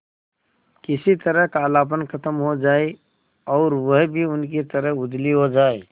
किसी तरह कालापन खत्म हो जाए और वह भी उनकी तरह उजली हो जाय